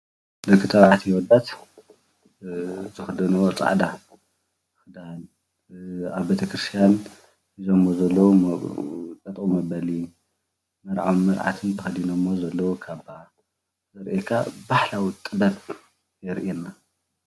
ደቂ ተባዕትዮ ኣወዳት ዝክዳንዎ ፃዕዳ ክዳን ኣብ ቤተክርስትያን ሒዘምዎ ዘለዉ ጠጠው መበሊ መርዓትን መርዓውነ ተከዲነሞ ዘለዉ ካባ ዘርእየካ ባህላዊ ጥበብ የርእየና፡፡